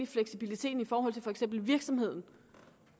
fleksibiliteten i forhold til for eksempel virksomheden